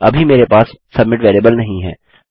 अभी मेरे पास सबमिट वेरिएबल नहीं है